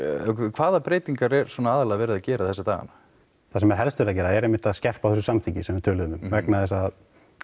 hvaða breytingar er verið að gera þessa dagana það sem er helst verið að gera er einmitt að skerpa á þessu samþykki sem við töluðum um vegna þess að